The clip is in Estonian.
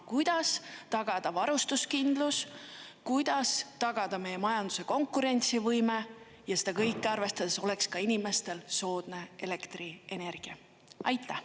Kuidas tagada varustuskindlus, kuidas tagada meie majanduse konkurentsivõime, ja seda kõike arvestades oleks inimestel ka soodne elektrienergia?